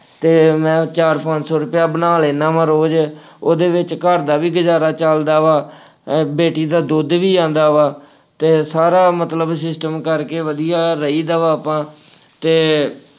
ਅਤੇ ਮੈਂ ਚਾਰ ਪੰਜ ਸੌ ਰੁਪਇਆ ਬਣਾ ਲੈਂਦਾ ਵਾ ਰੋਜ਼, ਉਹਦੇ ਵਿੱਚ ਘਰ ਦਾ ਗੁਜ਼ਾਰਾ ਚੱਲਦਾ ਵਾ, ਬੇਟੀ ਦਾ ਦੁੱਧ ਵੀ ਆਉਂਦਾ ਵਾ ਅਤੇ ਸਾਰਾ ਮਤਲਬ system ਕਰਕੇ ਵਧੀਆ ਰਹੀ ਦਾ ਵਾ ਆਪਾਂ, ਅਤੇ